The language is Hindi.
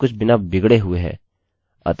मैं अपना lastname अपडेट कर सकता था